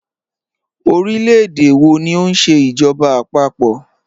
Ọ̀rílẹ̀-èdè wọ̀ ní o nṣẹ ijọba àpapọ̀?